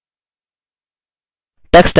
tux typing क्या है